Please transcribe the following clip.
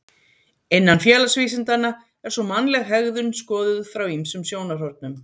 Innan félagsvísindanna er svo mannleg hegðun skoðuð frá ýmsum sjónarhornum.